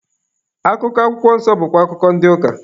Akụkọ akwụkwọ nsọ bụkwa akụkọ ndị ụka.